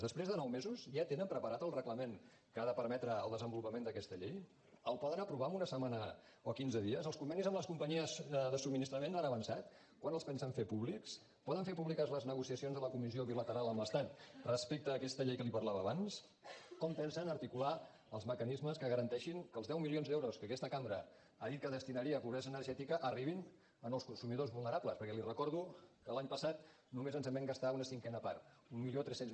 després de nou mesos ja tenen preparat el reglament que ha de permetre el desenvolupament d’aquesta llei el poden aprovar en una setmana o quinze dies els convenis amb les companyies de subministrament han avançat quan els pensen fer públics poden fer públiques les negociacions de la comissió bilateral amb l’estat respecte a aquesta llei que li parlava abans com pensen articular els mecanismes que garanteixin que els deu milions d’euros que aquesta cambra ha dit que destinaria a pobresa energètica arribin a nous consumidors vulnerables perquè li recordo que l’any passat només ens en vam gastar una cinquena part mil tres cents